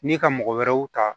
Ni ka mɔgɔ wɛrɛw ta